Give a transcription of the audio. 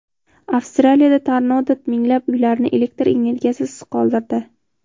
Avstraliyada tornado minglab uylarni elektr energiyasisiz qoldirdi.